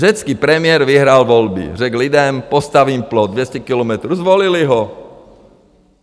Řecký premiér vyhrál volby, řekl lidem - postavím plot 200 kilometrů, zvolili ho.